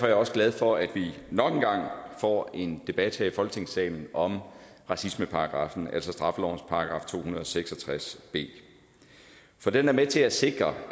jeg også glad for at vi nok engang får en debat her i folketingssalen om racismeparagraffen altså straffelovens § to hundrede og seks og tres b for den er med til at sikre